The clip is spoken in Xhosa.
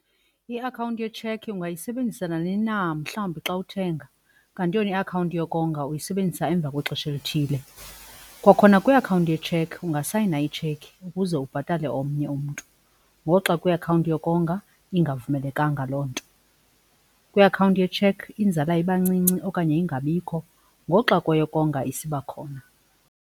Iakhawunti yetshekhi ungayisebenzisa nanini na mhlawumbi xa uthenga, kanti yona iakhawunti yokonga uyisebenzisa emva kwexesha elithile. Kwakhona kwiakhawunti yetshekhi ungasayina itshekhi ukuze ubhatale omnye umntu ngoxa kwiakhawunti yokonga ingavumelekanga loo nto. Kwiakhawunti yetshekhi inzala ibancinci okanye ingabikho ngoxa kweyokonga isiba khona.